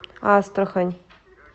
астрахань